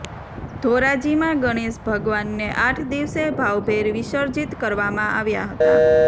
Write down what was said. ધોરાજીમાં ગણેશ ભગવાનને આઠ દિવસે ભાવભેર વિસર્જીત કરવામાં આવ્યા હતા